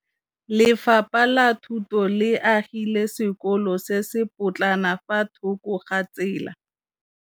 Lefapha la Thuto le agile sekôlô se se pôtlana fa thoko ga tsela.